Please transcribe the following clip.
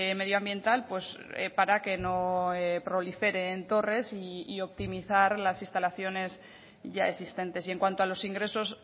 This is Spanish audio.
medioambiental para que no proliferen torres y optimizar las instalaciones ya existentes y en cuanto a los ingresos